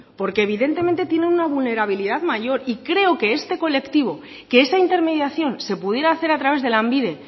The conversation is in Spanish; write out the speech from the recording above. porque evidentemente tienen una vulnerabilidad mayor y creo que este colectivo que esa intermediación se pudiera hacer a través de lanbide